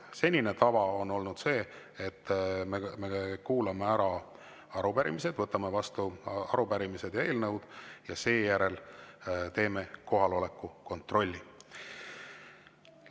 Senine tava on olnud see, et võtame vastu arupärimised ja eelnõud ja seejärel teeme kohaloleku kontrolli.